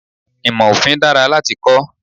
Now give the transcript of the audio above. Ìmò Òfin dára láti kọ́.